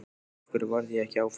Af hverju varð ég ekki áfram?